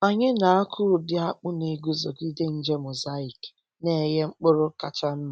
Anyị na-akụ ụdị akpu na-eguzogide nje mosaic na-enye mkpụrụ kacha mma.